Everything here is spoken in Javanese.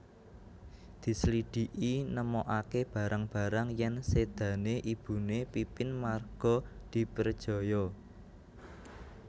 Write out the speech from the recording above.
Dislidhiki nemokaké barang barang yèn sédané ibuné Pipin marga diprejaya